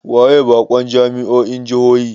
Waye bakon jami'o'in jihohi?